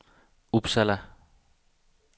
Uppsala